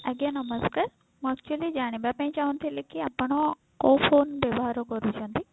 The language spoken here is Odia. ଆଜ୍ଞା ନମସ୍କାର ମୁଁ actually ଜାଣିବା ପାଇଁ ଚାହୁଁଥିଲି କି ଆପଣ କଉ phone ବ୍ୟବହାର କରୁଛନ୍ତି?